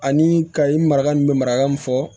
Ani kayi marakaw bɛ maraka mun fɔ